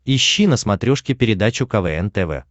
ищи на смотрешке передачу квн тв